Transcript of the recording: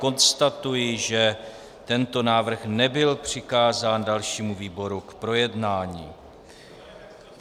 Konstatuji, že tento návrh nebyl přikázán dalšímu výboru k projednání.